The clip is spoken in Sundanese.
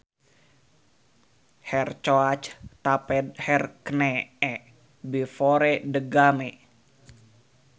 Her coach taped her knee before the game